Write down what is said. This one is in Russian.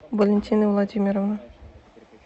валентины владимировны